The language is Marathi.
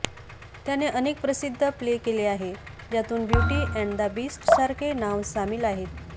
त्याने अनेक प्रसिद्ध प्ले केले आहे ज्यातून ब्यूटी एंड दा बीस्ट सारखे नाव सामील आहेत